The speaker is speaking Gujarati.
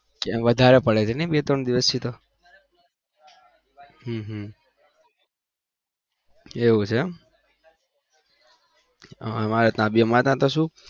વધારે પડે છે ને બે ત્રણ દિવસ થી હમ હમ એવું છે એમ અમારે ત્યાં બી અમારે ત્યાં બી શું